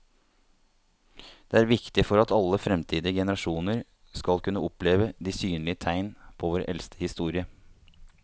Det er viktig for at alle fremtidige generasjoner skal kunne oppleve de synlige tegn på vår eldste historie.